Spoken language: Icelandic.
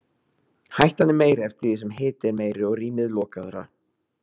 Hættan er meiri eftir því sem hiti er meiri og rýmið lokaðra.